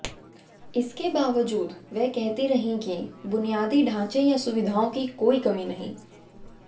इसके बावजूद वह कहती रही कि बुनियादी ढांचे या सुविधाओं की कोई कमी नहीं